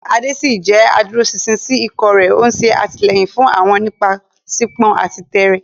Ade ṣì jẹ́ adúróṣinṣin sí ikọ̀ rẹ̀, ó ń ṣe àtìlẹ́yìn fún wọn nípasẹ̀pọn àti tẹ́ẹ́rẹ́.